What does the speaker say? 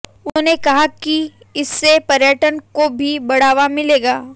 उन्होंने कहा कि इससे पर्यटन को भी बढ़ावा मिलेगा